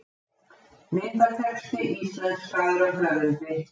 Myndatexti íslenskaður af höfundi.